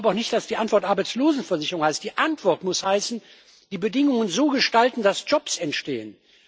Ich glaube auch nicht, dass die Antwort Arbeitslosenversicherung heißt. Die Antwort muss heißen die Bedingungen so gestalten, dass Jobs entstehen.